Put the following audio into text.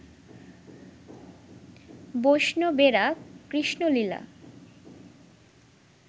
বৈষ্ণবেরা Krishna Leela